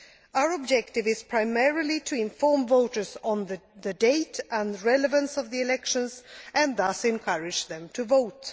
Our objective is primarily to inform voters on the date and relevance of the elections, and thus encourage them to vote.